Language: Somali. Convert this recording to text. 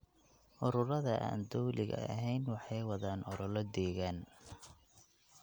Ururada aan dowliga ahayn waxay wadaan olole deegaan.